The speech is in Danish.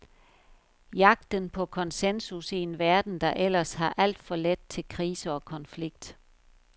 Jagten på koncensus i en verden, der ellers har alt for let til krise og konflikt.